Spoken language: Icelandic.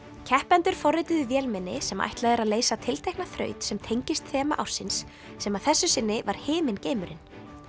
keppendur forrituðu vélmenni sem ætlað er að leysa tiltekna þraut sem tengist þema ársins sem að þessu sinni var himingeimurinn